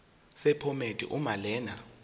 sephomedi uma lena